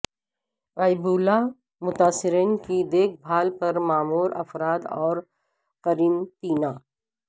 Ebola متاثرین کی دیکھ بھال پر مامور افراد اور قرنطینہ